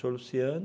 Senhor Luciano,